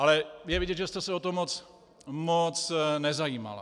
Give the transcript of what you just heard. Ale je vidět, že jste se o to moc nezajímala.